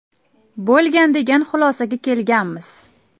bo‘lgan degan xulosaga kelganmiz.